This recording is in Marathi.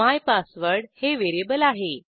मायपासवर्ड हे व्हेरिएबल आहे